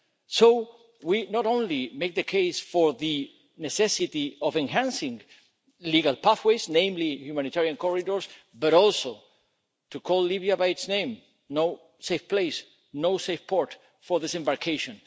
So we not only make the case for the necessity of enhancing legal pathways, namely humanitarian corridors, but also to call Libya by its name no safe place, no safe port for disembarkation.